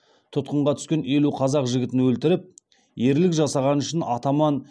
тұтқынға түскен елу қазақ жігітін өлтіріп ерлік жасағаны үшін атаман